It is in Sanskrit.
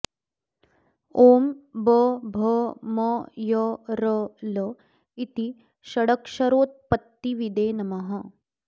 ॐ ब भ म य र ल इति षडक्षरोत्पत्तिविदे नमः